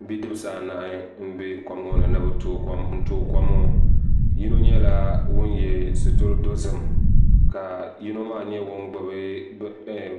Bidibsi anahi n bɛ kuligi ŋo ni ni bi tooi kom ŋo yino nyɛla ŋun yɛ sitiri dozim ka yino maa nyɛ ŋun gbubi